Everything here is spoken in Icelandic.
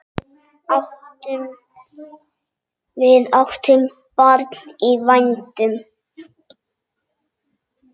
Við áttum barn í vændum.